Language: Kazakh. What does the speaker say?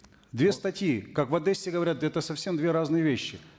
две статьи как в одессе говорят это совсем две разные вещи